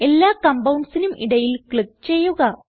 എല്ലാ compoundsനും ഇടയിൽ ക്ലിക്ക് ചെയ്യുക